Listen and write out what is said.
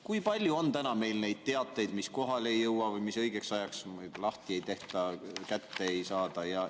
Kui palju on neid teateid, mis kohale ei jõua või mida õigeks ajaks lahti ei tehta, kätte ei saada?